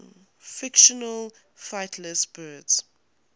fictional flightless birds